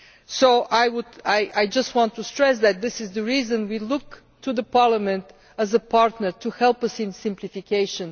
So I just want to stress that this is the reason we look to Parliament as a partner to help us in simplification.